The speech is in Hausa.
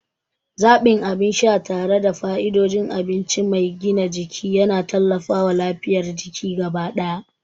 Zaɓin abin sha tare da fa'idodin abinci mai gina jiki yana tallafawa lafiyar jiki gaba ɗaya.